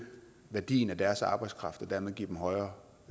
værdien af deres arbejdskraft og dermed give dem højere